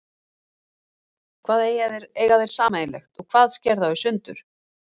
Hvað eiga þeir sameiginlegt og hvað sker þá í sundur?